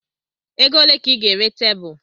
Ego ole ka ị ga-ere tebụl?